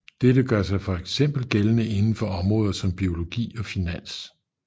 Dette gør sig fx gældende inden for områder som biologi og finans